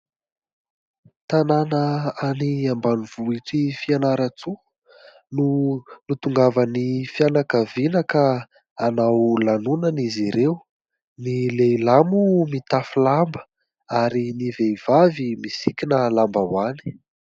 Tanàna any ambanivohitry Fianarantsoa no nitongavan'ny fianakaviana ka hanao lanonana izy ireo, ny lehilahy moa mitafy lamba ary ny vehivavy misikina lambaoany.